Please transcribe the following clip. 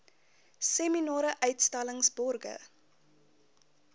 seminare uitstallings borge